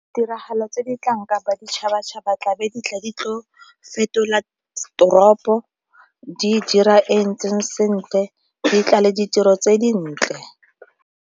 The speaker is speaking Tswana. Tiragalo tse di tlang kapa ditšhabatšhaba tlabe di tla di tlo fetola toropo, di e dira e e ntseng sentle, di tlale ditiro tse dintle.